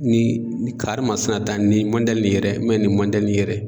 Ni karimasina ta nin nin yɛrɛ nin nin yɛrɛ